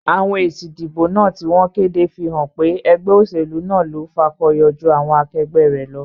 Àwon èsì ìdìbò náà tí wón kéde fí hán pé egbé òsèlú náà lo fakoyo jú àwon akegbé rè lo